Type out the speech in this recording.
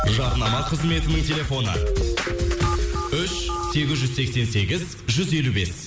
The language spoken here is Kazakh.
жарнама қызметінің телефоны үш сегіз жүз сексен сегіз жүз елу бес